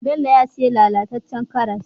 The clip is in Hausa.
Bello ya siyo lala tacen karas